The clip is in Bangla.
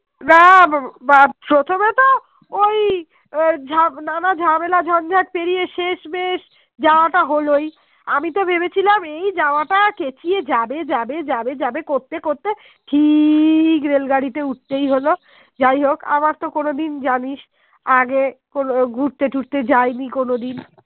চেঁচিয়ে যাবে যাবে যাবে যাবে করতে করতে ঠিক Rail গাড়িতে উঠতেই হলো যাই হোক আমার তো কোনো দিন জানিস আগে ঘুরতে তুতে যায়নি কোনোদিন